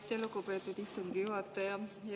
Aitäh, lugupeetud istungi juhataja!